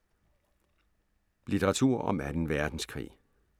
Litteratur om 2. Verdenskrig